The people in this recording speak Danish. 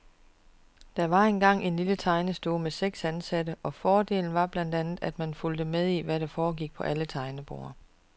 Det var dengang en lille tegnestue, med seks ansatte, og fordelen var blandt andet, at man fulgte med i, hvad der foregik på alle tegneborde.